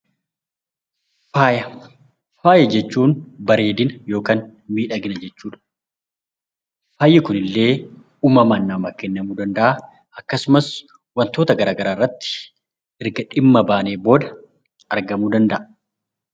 Faaya Faaya jechuun bareedina yookaan miidhagina jechuu dha. Faayi kun illee uumamaan namaa kennamuu danda'aa akkasumas wantoota gara garaa irratti erga dhimma baaneen booda argamuu danda'a.